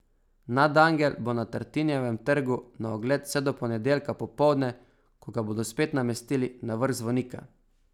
Nadangel bo na Tartinijevem trgu na ogled vse do ponedeljka popoldne, ko ga bodo spet namestili na vrh zvonika.